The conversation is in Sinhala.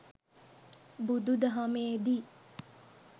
බුදු දහමේ දී